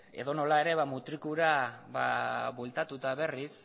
edonola ere mutrikura bueltatuta berriz